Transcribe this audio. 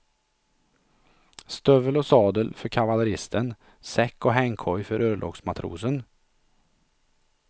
Stövel och sadel för kavalleristen, säck och hängkoj för örlogsmatrosen.